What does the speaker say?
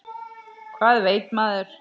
Hvað veit maður?